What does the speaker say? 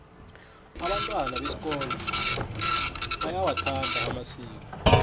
abantwana besikolo bayawathanda amasiko